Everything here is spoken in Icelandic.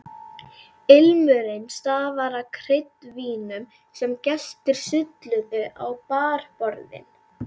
Ilmurinn stafaði af kryddvínum sem gestir sulluðu á barborðin.